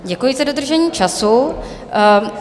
Děkuji za dodržení času.